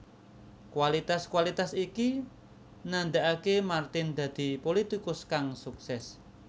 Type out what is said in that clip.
Kualitas kualitas iki ndadekake Martin dadi pulitikus kang sukses